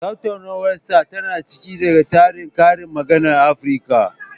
Tattaunawarsa tana cike da tarin karin maganar Afirka.